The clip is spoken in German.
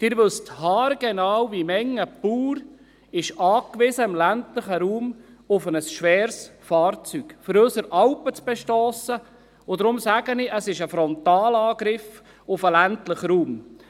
Sie wissen haargenau, wie viele Bauern im ländlichen Raum auf ein schweres Fahrzeug angewiesen sind, um unsere Alpen zu bestossen, und deshalb sage ich: Es ist ein Frontalangriff auf den ländlichen Raum.